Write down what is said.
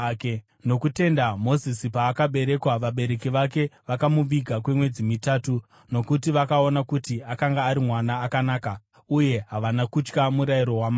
Nokutenda Mozisi paakaberekwa, vabereki vake vakamuviga kwemwedzi mitatu, nokuti vakaona kuti akanga ari mwana akanaka uye havana kutya murayiro wamambo.